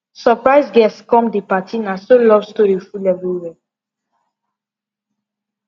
surprise guest come the party na so love story full everywhere